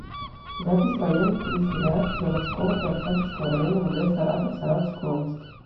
запись военный комиссариат заводского и октябрьского районов г саратов саратовской области